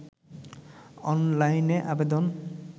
অনলাইনে আবেদন